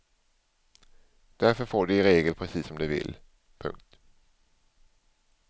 Därför får de i regel precis som de vill. punkt